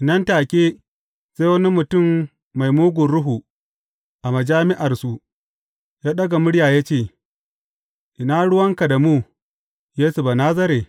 Nan take, sai wani mutum mai mugun ruhu a majami’arsu, ya ɗaga murya ya ce, Ina ruwanka da mu, Yesu Banazare?